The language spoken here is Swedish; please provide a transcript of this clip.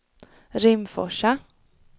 Rimforsa